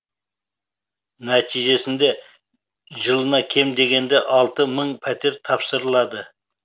нәтижесінде жылына кем дегенде алты мың пәтер тапсырылады